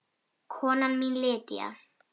Kona mín Lydia